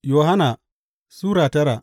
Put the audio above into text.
Yohanna Sura tara